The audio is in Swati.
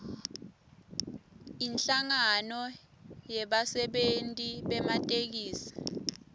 inhlangano yebasebenti bematekisi